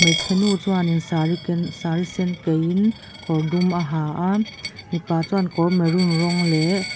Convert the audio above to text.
hmeichhe nu chuanin saree ken saree sen kaihin kawr dum a ha a mipa chuan kawr maroon rawng leh--